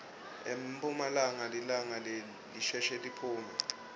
emphumalanga lilanga lisheshe liphume